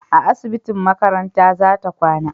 a asibitin makaranta za ta kwana